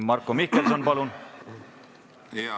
Marko Mihkelson, palun!